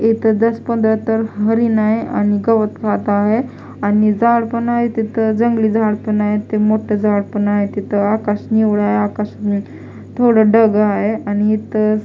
इथं दस पंधरा तर हरिण आहे आणि गवत खात आहे आणि झाड पण आहे तिथं जंगली झाड पण आहे ते मोठ झाड पण आहे तिथं आकाश निव्वळ आहे आकाश नी थोडं ढग आहे आणि इथं --